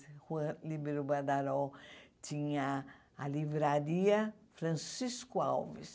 A Rua Líbero Badaró tinha a livraria Francisco Alves.